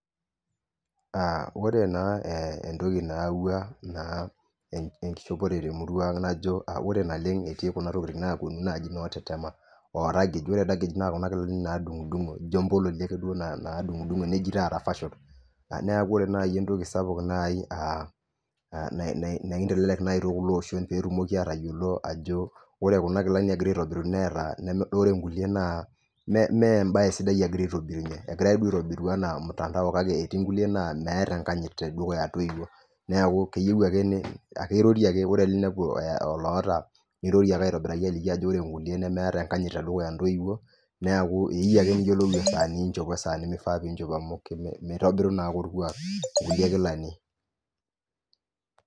Aa ore naa entoki nayawua enkishopore temurua aang najo ore naleng etii kuna tokin naponu naji notetema oraged, ore oraged na kuna kilani nadungdungo ijo mbololi ake nejii taata fashion neaku ore nai entoki sapuk neaku aa nakintelek nai teleosho na ekindim ajo ore kuna kilani egirai aitobiru neeta ore nkulie naa meembae sidai egirai aitobirunywme, epuoi aitobiru anaamtandao kake etii nkuliena meeta enkanyit tedukuya ntoiwuo neakukeyiu ake ore pinepuo oloo oota niroroe ake ajoki ore nkulie nemeeta enkanyit tedukuya ntoiwuo neaku eyieu ake niyiolou esaa ninchop wesaa nifaa piinchop amu mitobiru naa orkuak nona kilani.